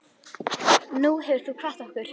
Nú hefur þú kvatt okkur.